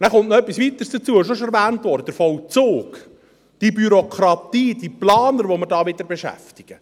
Und dann kommt noch etwas Weiteres hinzu – es wurde auch schon erwähnt –, der Vollzug: die Bürokratie, diese Planer, die wir hier wieder beschäftigen.